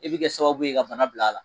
E bɛ kɛ sababu ye ka bana bila a la